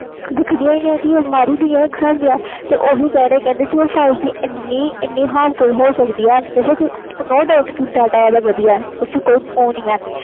ਦੇਖ ਦੀ ਨਹੀਂ ਹੁਣ ਮਰ ਹੀ ਗਈਆਂ ਇਕ ਹਿਸਾਬ ਨਾਲ ਓਹੀ ਕਹਿ ਰਹੇ five G ਇੰਨੀ harmful ਓ ਸਕਦੀ ਆ no doubt ਕਿ ਓਹਦਾ data ਇਹਨਾਂ ਵਧੀਆ